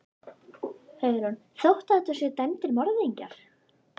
Hugrún: Þó þetta séu dæmdir morðingjar?